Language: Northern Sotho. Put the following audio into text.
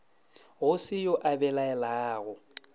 go se yo a belaelago